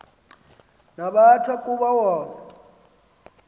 nabathwa kuba wona